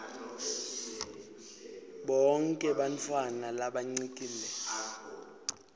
bonkhe bantfwana labancikile